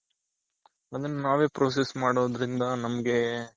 ಅದನ್ನ ನಾವೇ process ಮಾಡೋದ್ರಿಂದ ನಮ್ಗೆ,